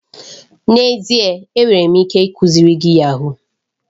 N'ezie! Enwere m ike ikuziri gị yahuu.